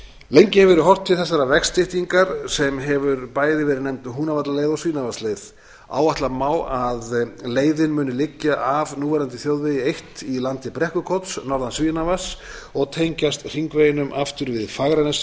lengi hefur verið horft til þessarar vegstyttingar sem hefur bæði verið nefnd húnavallaleið og svínavatnsleið áætla má að leiðin muni liggja af núverandi þjóðvegi eitt í landi brekkukots norðan svínavatns og tengjast hringveginum aftur við fagranes